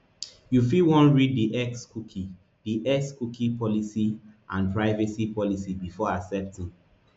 you fit wan read di xcookie di xcookie policyandprivacy policybefore accepting